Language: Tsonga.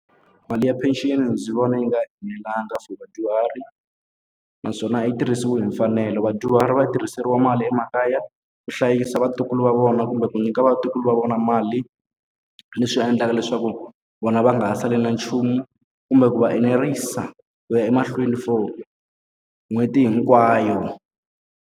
Mali ya pension ndzi vona yi nga enelanga for vadyuhari, naswona a yi tirhisiwi hi mfanelo. Vadyuhari va yi tirhiseriwa mali emakaya ku hlayisa vatukulu va vona kumbe ku nyika vatukulu va vona mali. Leswi endlaka leswaku vona va nga ha sali na nchumu, kumbe ku va enerisa ku ya emahlweni for n'hweti hinkwayo.